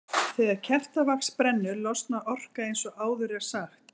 Þegar kertavax brennur losnar orka eins og áður er sagt.